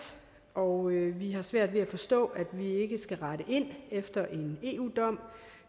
og vi har svært ved at forstå at vi ikke skal rette ind efter en eu dom